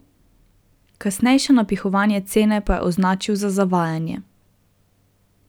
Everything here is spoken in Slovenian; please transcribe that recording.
Kasnejše napihovanje cene pa je označil za zavajanje.